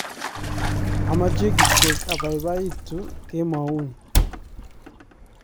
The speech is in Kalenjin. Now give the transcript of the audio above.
ameche kityo abaibaitu kemouni